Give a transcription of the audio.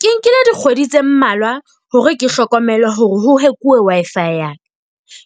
Ke nkile dikgwedi tse mmalwa hore ke hlokomele hore ho hack-uwe Wi-Fi ya ka.